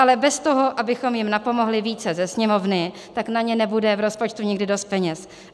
Ale bez toho, abychom jim napomohli více ze Sněmovny, tak na ně nebude v rozpočtu nikdy dost peněz.